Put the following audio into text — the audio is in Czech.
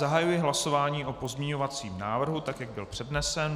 Zahajuji hlasování o pozměňovacím návrhu tak, jak byl přednesen.